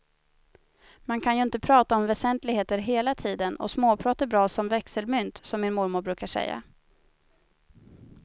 Man kan ju inte prata om väsentligheter hela tiden och småprat är bra som växelmynt, som min mormor brukar säga.